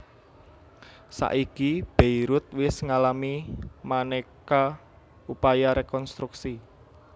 Saiki Beirut wis ngalami manéka upaya rekonstruksi